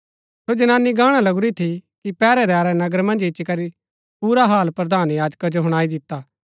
सो जनानी गाणा लगुरी थी कि पैहरैदारै नगर मन्ज इच्ची करी पुरा हाल प्रधान याजका जो हुणाई दिता